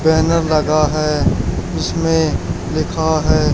banner लगा है इसमें लिखा है--